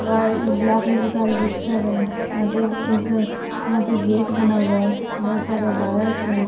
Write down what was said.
वाइ black colour का एल्बेस्टर है यहां पे एक यहां पे बना हुआ है बहोत सारे वायर्स है।